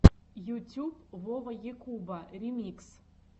ютюб вова якуба ремикс